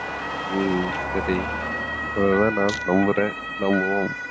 ஹம் சரி நம்புறேன் நம்புவோம்